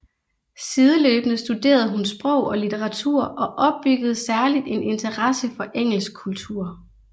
Sideløbende studerede hun sprog og litteratur og opbyggede særligt en interesse for engelsk kultur